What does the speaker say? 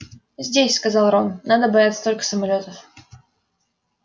здесь сказал рон надо бояться только самолётов